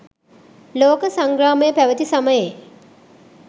ලෝක සංග්‍රාමය පැවති සමයේ